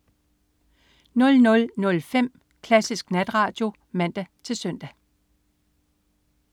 00.05 Klassisk Natradio (man-søn)